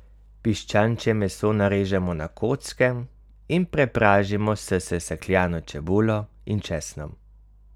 Piščančje meso narežemo na kocke in prepražimo s sesekljano čebulo in česnom.